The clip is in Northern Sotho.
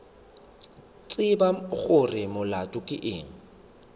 tsebe gore molato ke eng